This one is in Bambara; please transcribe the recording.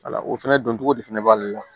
Wala o fɛnɛ dɔncogo de fana b'ale la